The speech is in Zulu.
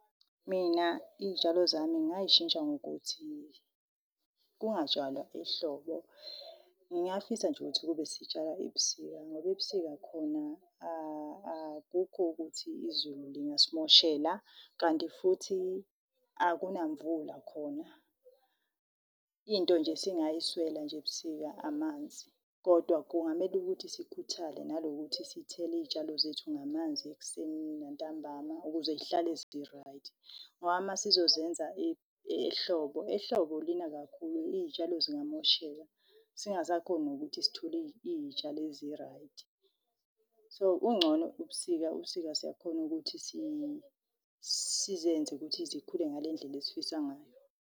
Mina iy'tshalo zami ngayishintsha ngokuthi kungatshalwa ehlobo. Ngingafisa nje ukuthi kube sitshala ebusika. Ngoba ebusika khona akukho ukuthi izulu lingasimoshela, kanti futhi akuna mvula khona. Into nje esingayiswela nje ebusika, amanzi. Kodwa kungamele ukuthi sikhuthale, nanokuthi sithele iyitshalo zethu ngamanzi ekuseni nantambama, ukuze y'hlale zi-right. Ngoba uma sizozenza ehlobo, ehlobo lina kakhulu iyitshalo zingamosheka. Singasakhoni nokuthi sithole iy'tshalo ezi-right. So, ungcono ubusika, ubusika siyakhona ukuthi sizenze ukuthi zikhule ngale ndlela esifisa ngayo.